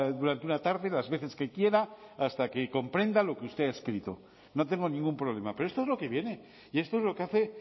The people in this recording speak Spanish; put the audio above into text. durante una tarde las veces que quiera hasta que comprenda lo que usted ha escrito no tengo ningún problema pero esto es lo que viene y esto es lo que hace